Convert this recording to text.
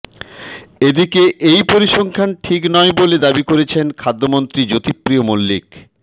এদিকে এই পরিসংখ্যান ঠিক নয় বলে দাবি করেছেন খাদ্যমন্ত্রী জ্যোতিপ্রিয় মল্লিক